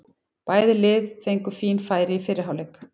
Bæði lið fengu fín færi í fyrri hálfleik.